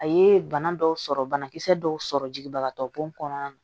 A ye bana dɔw sɔrɔ banakisɛ dɔw sɔrɔ jigibagatɔ bɔn kɔnɔna na